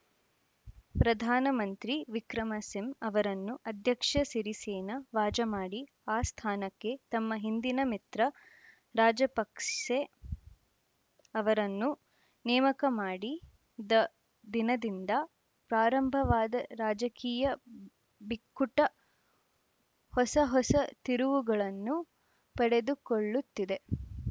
ಪ್ರಧಾನ ಮಂತ್ರಿ ವಿಕ್ರಮಸಿಂ ಅವರನ್ನು ಅಧ್ಯಕ್ಷ ಸಿರಿಸೇನ ವಾಜಮಾಡಿ ಆ ಸ್ಥಾನಕ್ಕೆ ತಮ್ಮ ಹಿಂದಿನ ಮಿತ್ರ ರಾಜಪಕ್ಸೆ ಅವರನ್ನು ನೇಮಕ ಮಾಡಿ ದ ದಿನದಿಂದ ಪ್ರಾರಂಭವಾದ ರಾಜಕೀಯ ಬಿಕ್ಕುಟ ಹೊಸ ಹೊಸ ತಿರುವುಗಳನ್ನು ಪಡೆದುಕೊಳ್ಳುತ್ತಿದೆ